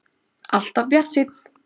Alltaf bjartsýnn!